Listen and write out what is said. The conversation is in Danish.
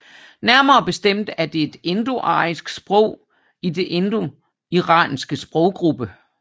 Nærmere bestemt er det et indoarisk sprog i den indoiranske sproggruppe